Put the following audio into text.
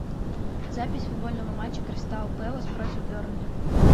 запись футбольного матча кристал пэлас против бернли